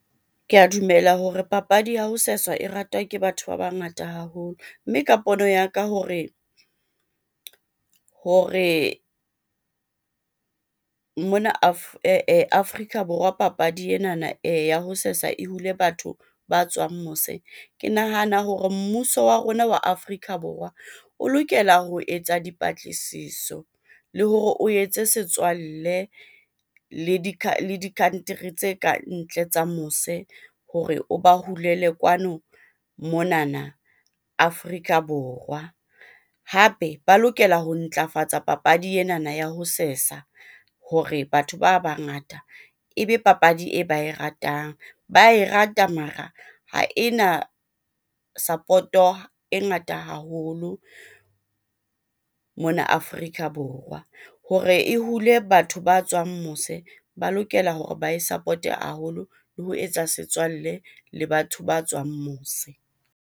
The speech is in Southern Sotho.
Ke a dumela hore papadi ya ho seswa e ratwa ke batho ba bangata haholo. Mme ka pono ya ka hore mona Afrika Borwa papadi enana ya ho sesa e hule batho ba tswang mose. Ke nahana hore mmuso wa rona wa Afrika Borwa o lokela ho etsa dipatlisiso le hore o etse setswalle le di di-country tse kantle tsa mose hore o ba hulele kwano monana Afrika Borwa. Hape ba lokela ho ntlafatsa papadi enana ya ho sesa hore batho ba bangata ebe papadi e ba e ratang. Ba e rata mara ha ena support-o e ngata haholo mona Afrika Borwa. Hore e hule batho ba tswang mose, ba lokela hore ba e support-e haholo le ho etsa setswalle le batho ba tswang mose.